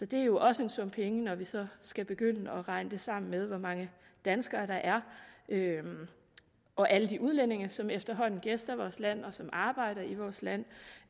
det er jo også en sum penge når vi så skal begynde at regne det sammen med hvor mange danskere der er og alle de udlændinge som efterhånden gæster vores land og som arbejder i vores land